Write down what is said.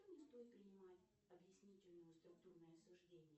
не стоит принимать объяснительное структурное суждение